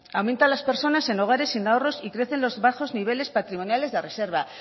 aumentan las personas en hogares sin ahorros y crecen los bajos niveles patrimoniales de reserva